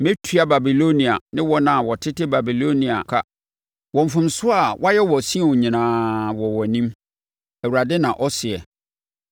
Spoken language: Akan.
“Mɛtua Babilonia ne wɔn a wɔtete Babilonia ka wɔ mfomsoɔ a wɔayɛ wɔ Sion nyinaa, wɔ wʼanim,” Awurade na ɔseɛ.